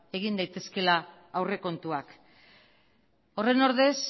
egin daitezkeela aurrekontuak horren ordez